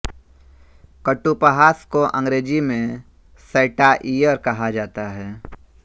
कटूपहास को अंग्रेज़ी में सैटाइअर कहा जाता है